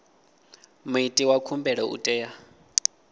muiti wa khumbelo u tea